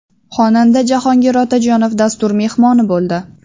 Xonanda Jahongir Otajonov dastur mehmoni bo‘ldi.